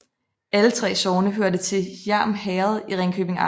Alle 3 sogne hørte til Hjerm Herred i Ringkøbing Amt